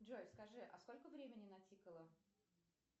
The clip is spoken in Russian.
джой скажи а сколько времени натикало